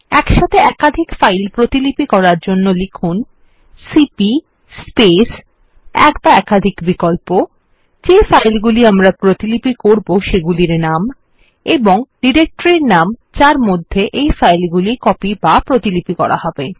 একসাথে একাধিক ফাইল প্রতিলিপি করার জন্য লিখুন সিপি স্পেস এক বা একাধিক বিকল্প যে ফাইল গুলি আমরা প্রতিলিপি করবো সেগুলির নাম এবং ডিরেক্টরির নাম যার মধ্যে এই ফাইল গুলি কপি বা প্রতিলিপি করা হবে